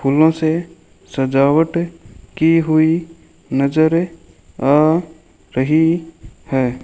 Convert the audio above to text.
फूलों से सजावट की हुई नजर आ रही है।